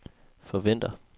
forventer